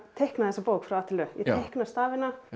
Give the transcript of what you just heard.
teikna þessa bók frá a til ö ég teikna stafina